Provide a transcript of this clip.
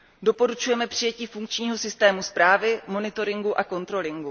Doporučujeme přijetí funkčního systému správy, monitoringu a kontroly.